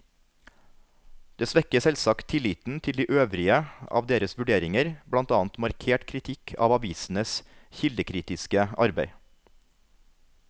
Det svekker selvsagt tilliten til de øvrige av deres vurderinger, blant annet markert kritikk av avisenes kildekritiske arbeid.